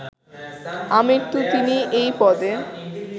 আমৃত্যু তিনি এই পদে